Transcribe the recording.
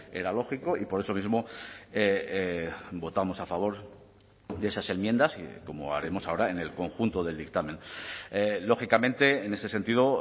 era lógico y por eso mismo votamos a favor de esas enmiendas como haremos ahora en el conjunto del dictamen lógicamente en ese sentido